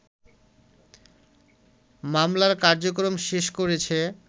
মামলার কার্যক্রম শেষ করেছে